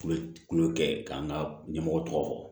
U bɛ kulonkɛ kɛ k'an ka ɲɛmɔgɔ tɔgɔ fɔ